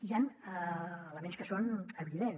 hi han elements que són evidents